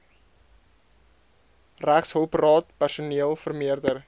regshulpraad personeel vermeerder